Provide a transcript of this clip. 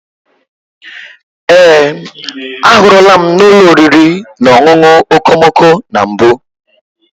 Ee, ahụrụla m n'ụlọ oriri na ọṅụṅụ okomoko na mbụ.